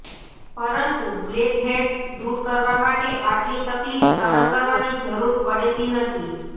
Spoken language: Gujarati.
પરંતુ બ્લેકહેડ્સ દૂર કરવા માટે આટલી તકલીફ સહન કરવાની જરૂર પડતી નથી